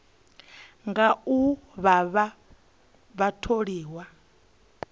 nga u vha vha tholiwa